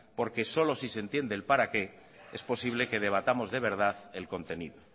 porque solo si se entiende el para qué es posible que debatamos de verdad el contenido